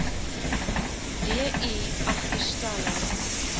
d i agterstallig